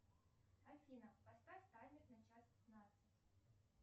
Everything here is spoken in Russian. афина поставь таймер на час пятнадцать